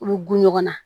U bɛ gun ɲɔgɔn na